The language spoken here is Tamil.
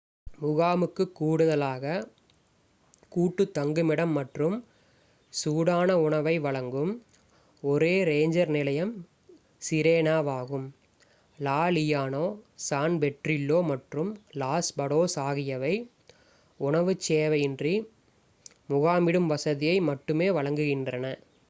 முகாமுக்குக் கூடுதலாக கூட்டுத் தங்குமிடம் மற்றும் சூடான உணவை வழங்கும் ஒரே ரேஞ்சர் நிலையம் சிரேனாவாகும் லா லியோனா சான் பெட்ரில்லோ மற்றும் லாஸ் படோஸ் ஆகியவை உணவுச் சேவையின்றி முகாமிடும் வசதியை மட்டுமே வழங்குகின்றன